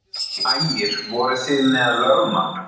Ægir: Voruð þið með lögmann?